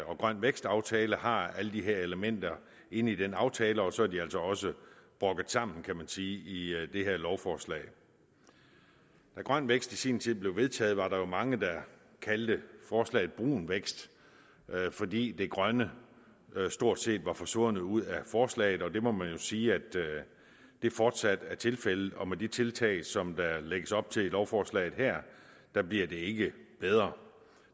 og grøn vækst aftalen har alle de her elementer inde i den aftale og så er de altså også brokket sammen kan man sige i det her lovforslag da grøn vækst i sin tid blev vedtaget var der jo mange der kaldte forslaget brun vækst fordi det grønne stort set var forsvundet ud af forslaget og det må man jo sige fortsat er tilfældet og med de tiltag som der lægges op til i lovforslaget her bliver det ikke bedre